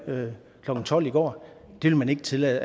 klokken tolv i går det vil man ikke tillade